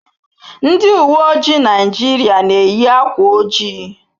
Ndị uwe ojii Naịjirịa na-eyi akwa ojii.